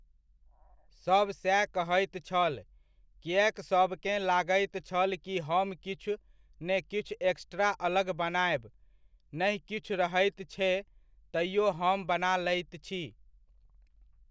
सब सएह कहैत छल किएक सबकेँ लागैत छल कि हम किुछ ने किछु एक्स्ट्रा अलग बनायब, नहि कीछु रहैत छे तैओ हम बना लैत छी।